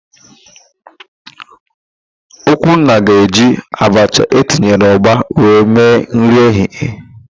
Okwunna ga-eji abacha etinyere ụgba wee mee nri ehihie.